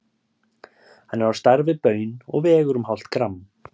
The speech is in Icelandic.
Hann er á stærð við baun og vegur um hálft gramm.